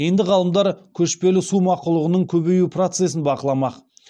енді ғалымдар көшпелі су мақұлығының көбею процесін бақыламақ